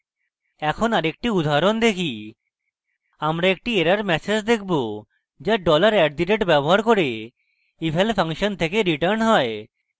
এখন আরেকটি উদাহরণ দেখি আমরা একটি error ম্যাসেজ দেখবো যা $@dollar at দ rate ব্যবহার করে eval ফাংশন থেকে রিটার্ন হয়